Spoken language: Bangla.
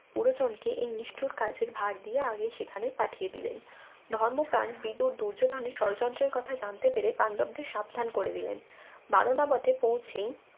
পুরোজনকে এই নিষ্ঠুর কার্যের ভার দিয়ে আগেই সেখানে পাঠিয়ে দিলেন ধর্মপ্রাণ বিদ্যুর দুর্যোধনের ষড়যন্ত্রের কথা জানতে পেরে পান্ডবদের সাবধান করে দিলেন বারনাবতে পৌঁছেই